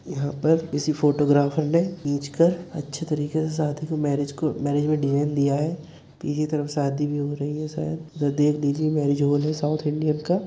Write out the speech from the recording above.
यहाॅं पर किसी फोटोग्राफर ने खींचकर अच्छे तरीके से शादी को मैरिज को मैरिज में डिज़ाइन दिया है पीछे तरफ शादी भी हो रही है शायद उधर देख लीजिए मैरिज हॉल है साउथ इंडियन का।